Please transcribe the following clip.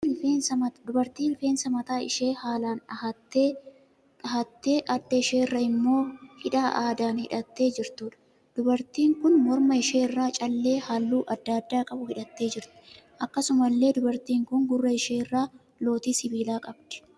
Dubartii rifeensa mataa ishee haalaan dhahattee adda ishee irra immoo hidhaa aadaan hidhattee jirtuudha. Dubartiin kun morma ishee irraa callee halluu adda addaa qabu hidhattee jirti. Akkasumallee dubartiin kun gurra ishee irraa lootii sibiilaa qabdi.